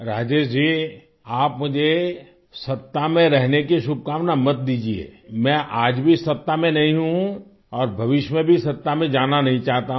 राजेश जी आप मुझे सत्ता में रहने की शुभकामनाएं मत दीजिए मैं आज भी सत्ता में नहीं हूँ और भविष्य में भी सत्ता में जाना नहीं चाहता हूँ